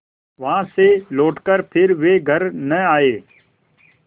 वहाँ से लौटकर फिर वे घर न आये